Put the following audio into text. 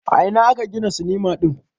A ina aka gina sinima din?